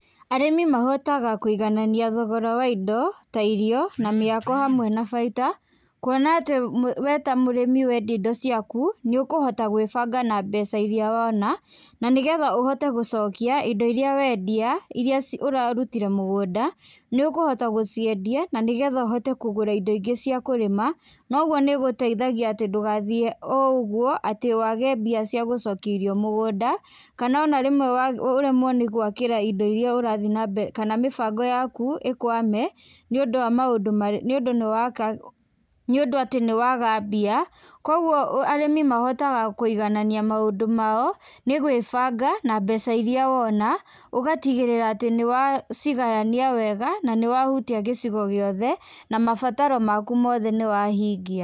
Arĩmi mahotaga kũiganania thogora wa indo ta irio, na mĩako hamwe na baita kuona atĩ we ta mũrĩmi wendia indo ciaku, nĩ ũkũhota gwĩbanga na mbeca irĩa wona, na nĩ getha ũhote gũcokia indo irĩa wendia irĩa ũrarutire mũgũnda, nĩ ũkũhota gũciendia na nĩ getha ũhote kũgũra indo ingĩ cia kũrĩma, na ũguo nĩgũteithagia atĩ ndũgathiĩ o ũguo atĩ wage mbia cia gũcokia irio mũgũnda, kana ona rĩmwe ũremwo nĩ gwakĩra indo irĩa ũrathi na mbere kana mĩbango yaku ĩkwame, nĩ ũndũ wa maũndũ nĩ ũndũ nĩ nĩ ũndũ atĩ nĩ waaga mbia. Kũguo arĩmi mahotaga kũiganania maũndũ mao nĩ gwĩbanga na mbeca irĩa wona, ũgatigĩrĩra atĩ nĩ wacigayania wega na nĩ wahutia gĩcigo gĩothe na mabataro maku mothe nĩwahingia.